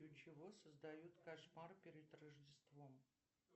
для чего создают кошмар перед рождеством